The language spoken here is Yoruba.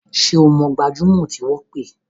Ṣé o mọ gbajúmọ̀ tí wọ́n pè?